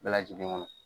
Bɛɛ lajɛlen kɔnɔ